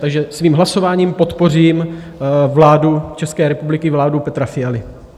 Takže svým hlasováním podpořím vládu České republiky, vládu Petra Fialy.